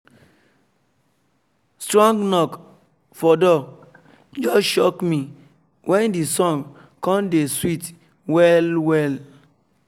strong knok for door just shock me when the song come dey sweet well well